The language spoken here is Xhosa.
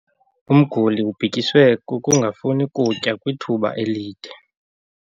Umguli ubhityiswe kukungafuni kutya kwithuba elide.